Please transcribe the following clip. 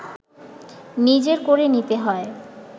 নিজের করে নিতে হয়